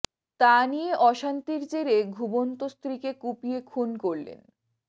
তা নিয়ে অশান্তির জেরে ঘুমন্ত স্ত্রীকে কুপিয়ে খুন করলেন